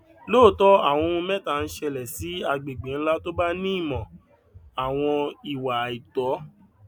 lóòótọ awọn ohun mẹta ń ṣẹlẹ sí agbègbè ńlá tó bá ní ìmò àwọn ìwà àìtó